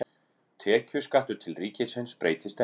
Tekjuskattur til ríkisins breytist ekki